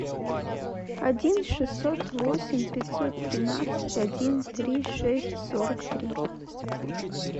один шестьсот восемь пятьсот тринадцать один три шесть сорок три